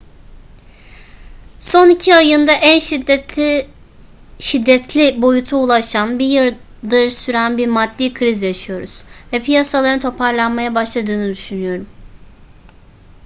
son iki ayında en şiddetli boyuta ulaşan bir yıldır süren bir maddi kriz yaşıyoruz ve piyasaların toparlanmaya başladığını düşünüyorum.